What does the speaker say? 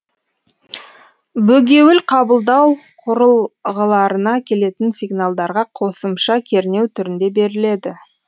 бөгеуіл қабылдау құрылғыларына келетін сигналдарға қосымша кернеу түрінде беріледі